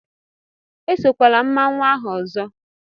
Esokwala mmanwu ahụ ọzọ!